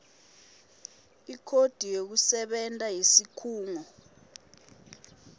ikhodi yekusebenta yesikhungo